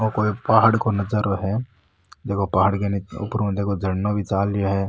ओ कोई पहाड़ को नजारो है देखो पहाड़ के नीच ऊपर ऊ झरना भी चाल रो है।